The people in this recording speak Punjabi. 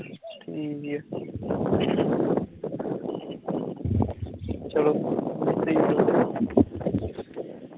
ਚੱਲੋ